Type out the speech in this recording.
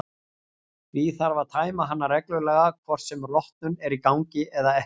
Því þarf að tæma hana reglulega hvort sem rotnun er í gangi eða ekki.